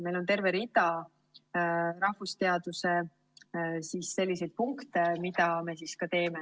Meil on rahvusteaduste puhul terve rida selliseid punkte, mida me ka teeme.